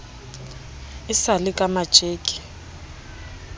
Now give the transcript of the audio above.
e sa le ka matjeke